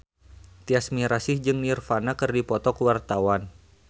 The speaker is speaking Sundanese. Tyas Mirasih jeung Nirvana keur dipoto ku wartawan